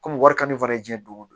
Komi wari ka di fana diyan don o don